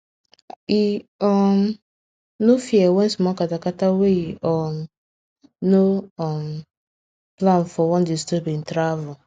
e um no fear when small kata kata wey e um no um plan for wan disturb hin travel